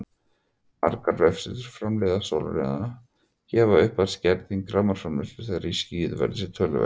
Margir vefsíður framleiðenda sólarrafhlaða gefa upp að skerðing rafmagnsframleiðslu þegar í skýjuðu veðri sé töluverð.